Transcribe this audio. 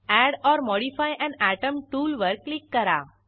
add or modify an atom टूलवर click करा